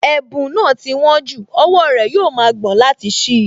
Ẹ̀bùn náà ti wón jù, owó rẹ̀ yóò ma gbọ̀n láti ṣí i